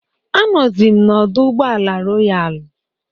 Anọzi m n'ọdọ ụgbọala Royalu.